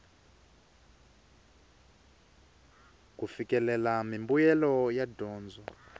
ku fikelela mimbuyelo ya dyondzo